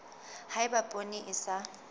ha eba poone e sa